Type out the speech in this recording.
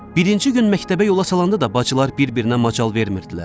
Birinci gün məktəbə yola salanda da bacılar bir-birinə macal vermirdilər.